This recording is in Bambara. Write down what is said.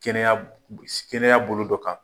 Kɛnɛya kɛnɛya bolo dɔ kan.